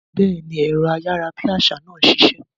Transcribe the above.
Béèni, ẹ̀rọ ayárabíàṣá náà ṣiṣẹ́